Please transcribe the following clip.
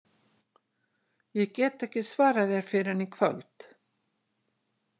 Ég get ekki svarað þér fyrr en í kvöld